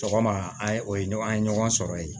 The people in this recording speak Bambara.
Sɔgɔma an ye o ye an ye ɲɔgɔn sɔrɔ yen